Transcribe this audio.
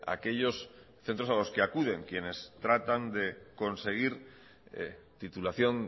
aquellos centros a los que acuden quienes tratan de conseguir titulación